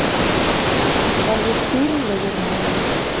Alveg dýrlegur maður.